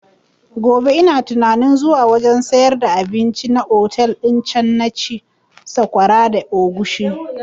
Gobe ina tunanin zuwa wajen sayar da abinci na otel din can na ci sakwara da agushi